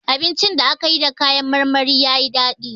Abincin da aka yi da kayan marmari ya yi dadi.